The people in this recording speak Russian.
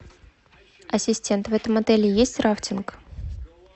ассистент в этом отеле есть рафтинг